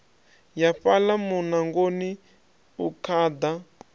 ya fhaḽa muṋangoni u khaḓa